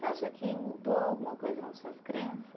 Você acha que mudou alguma coisa nas suas crenças?